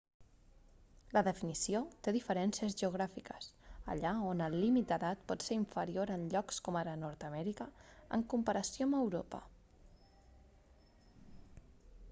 la definició té diferències geogràfiques allà on el límit d'edat pot ser inferior en llocs com ara nord amèrica en comparació amb europa